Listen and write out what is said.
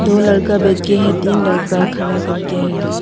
दो लड़का बैठ के है तीन लड़का खड़ा करके है।